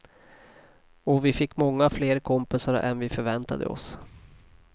Och vi fick många fler kompisar än vi förväntade oss.